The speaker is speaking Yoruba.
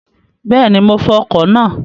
Bẹ́ẹ̀ni, mo fọ ọkọ̀ náà